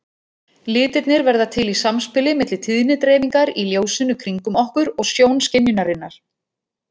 Litirnir verða til í samspili milli tíðnidreifingar í ljósinu kringum okkur og sjónskynjunarinnar.